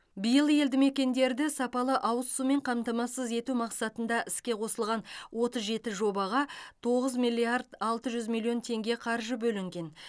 биыл елді мекендерді сапалы ауыз сумен қамтамасыз ету мақсатында іске қосылған отыз жеті жобаға тоғыз миллиард алты жүз миллион теңге қаржы бөлінген